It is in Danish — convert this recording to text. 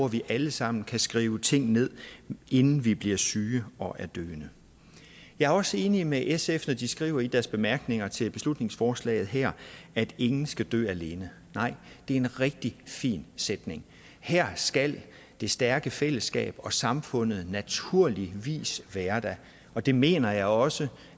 vi alle sammen kan skrive ting ned inden vi bliver syge og døende jeg er også enig med sf når de skriver i deres bemærkninger til beslutningsforslaget her at ingen skal dø alene det er en rigtig fin sætning her skal det stærke fællesskab og samfundet naturligvis være der og det mener jeg også